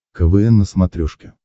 квн на смотрешке